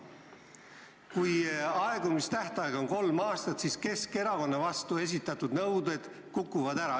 Kui aegumistähtaeg on kolm aastat, siis praegu Keskerakonna vastu esitatud nõuded kukuvad ära.